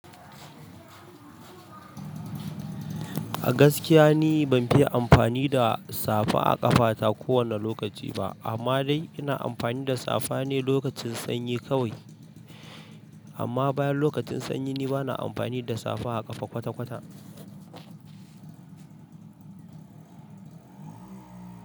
A gaskiya ni ban fi amfani da safa a ƙafata kowane lokaci ba, amma dai ina amfani da safa ne lokacin sanyi kawai amma bayan lokacin sanyi ni bana amfani da safa a ƙafa kwata-kwata.